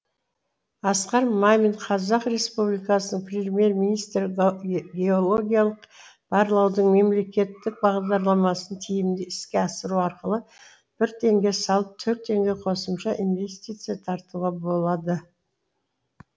асқар мамин қазақ республикасының премьер министрі геологиялық барлаудың мемлекеттік бағдарламасын тиімді іске асыру арқылы бір теңге салып төрт теңге қосымша инвестиция тартуға болады